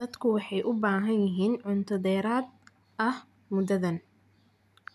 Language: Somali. Dadku waxay u baahan yihiin cunto dheeraad ah muddadan.